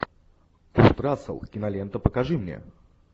курт рассел кинолента покажи мне